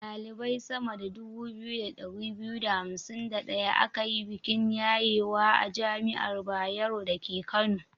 Ɗalibai sama da 2251 aka yi bikin yayewa a jami'ar Bayero dake Kano.